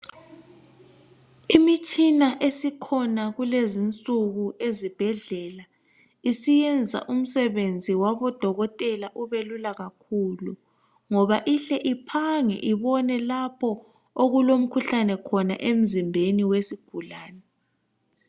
Imitshina esikhona kulezi insuku ezibhedlela isiyenza umsebenzi wabodokotela ubelula kakhulu, ngoba ihle iphange ibone lapho okulomkhuhlane khona, emzimbeni wesigulane.